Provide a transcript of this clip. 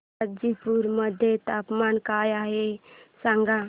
गाझीपुर मध्ये तापमान काय आहे सांगा